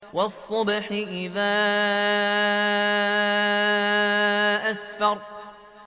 وَالصُّبْحِ إِذَا أَسْفَرَ